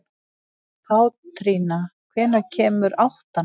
Pétrína, hvenær kemur áttan?